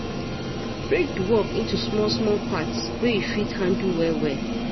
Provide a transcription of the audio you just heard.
Break di work into small small part wey you fit handle well well